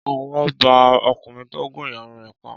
Ọwọ́ ba ọkùnrin tó gún ìyàwó rẹ̀ pa